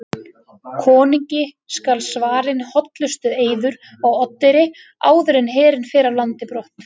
Konungi skal svarinn hollustueiður á Oddeyri áður en herinn fer af landi brott.